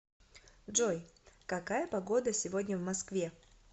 джой какая погода сегодня в москве